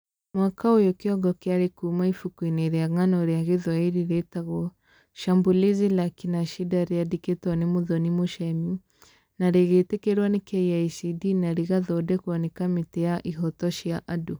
Mwaka ũyũ kĩongo kĩarĩ kuuma ibuku-inĩ rĩa ng'ano rĩa Gĩthwaĩri rĩtagwo, "Shambulizi la Akina shida" rĩandĩkĩtwo nĩ Muthoni Muchemi na rĩgĩtĩkĩrwo nĩ KICD na rĩgathondekwo nĩ Kamĩtĩ ya Ihooto cia Andũ